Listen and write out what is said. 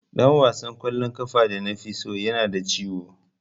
Dan wasan kwallon kafa da nafi so yana da ciwo.